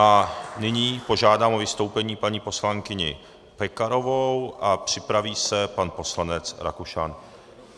A nyní požádám o vystoupení paní poslankyni Pekarovou a připraví se pan poslanec Rakušan.